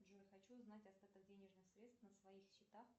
джой хочу узнать остаток денежных средств на своих счетах